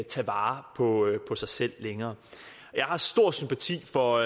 tage vare på sig selv længere jeg har stor sympati for